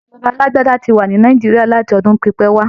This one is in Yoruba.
Ìṣèjọba alágbádá ti wà ní Nàìjíríà láti ọdún pípẹ́ wá.